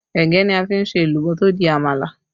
Ẹ̀gẹ́ náà ni a fi n se èlùbọ́ tó di àmàlà